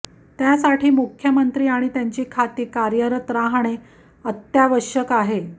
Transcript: त्यासाठी मुख्यमंत्री आणि त्यांची खाती कार्यरत राहणे अत्यावश्यक आहे